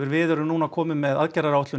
við erum nú komin með aðgerðaráætlun